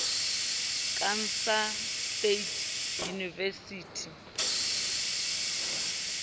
kansas state university